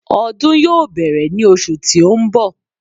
Ọdún yóò bẹ̀rẹ̀ ní osù tí ó ń bọ̀